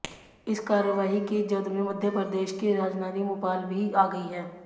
इस कार्रवाई की जद में मध्य प्रदेश की राजधानी भोपाल भी आ गई है